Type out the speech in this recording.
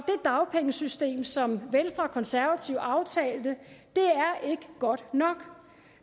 dagpengesystem som venstre og konservative aftalte er ikke godt nok